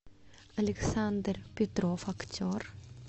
александр петров актер